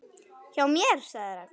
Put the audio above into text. Hjá mér? svaraði Ragna.